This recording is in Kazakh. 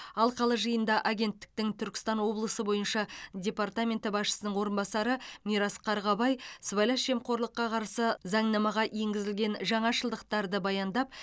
алқалы жиында агенттіктің түркістан облысы бойынша департаменті басшысының орынбасары мирас қарғабай сыбайлас жемқорлыққа қарсы заңнамаға енгізілген жаңашылдықтарды баяндап